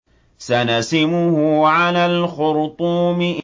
سَنَسِمُهُ عَلَى الْخُرْطُومِ